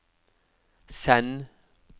send